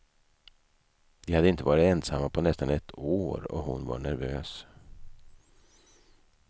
De hade inte varit ensamma på nästan ett år och hon var nervös.